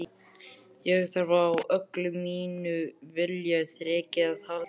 Ég þarf á öllu mínu viljaþreki að halda.